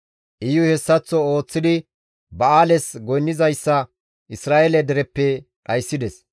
Iyuy hessaththo ooththidi ba7aales goynnizayssa Isra7eele dereppe dhayssides.